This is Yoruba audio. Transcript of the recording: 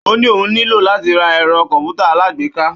Ó ní òun nílò láti ra ẹ̀rọ kọ̀m̀pútà alágbèéká.